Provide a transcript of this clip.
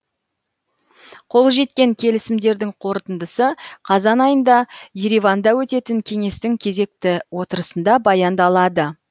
қол жеткен келісімдердің қорытындысы қазан айында ереванда өтетін кеңестің кезекті отырысында баяндалады